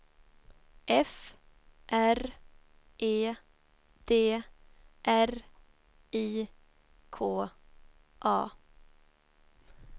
F R E D R I K A